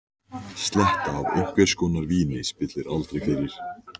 Gleymdi í uppnáminu að hún þurfti líka að túlka.